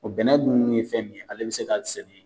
bɛnna dun ye fɛn min ye, ale bi se ka sɛnɛ